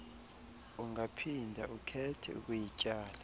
ungaphinda ukhethe ukuyityala